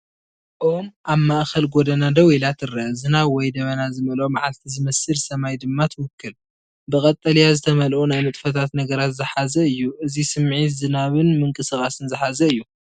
ኦም ኣብ ማእከል ጎደና ደው ኢላ ትረአ፡ ዝናብ ወይ ደበና ዝመልኦ መዓልቲ ዝመስል ሰማይ ድማ ትውክል። ብቀጠልያ ዝተመልኡ ናይ ንጥፈታት ነገራት ዝሓዘ እዩ። እዚ ስምዒት ዝናብን ምንቅስቓስን ዝሓዘ እዩ።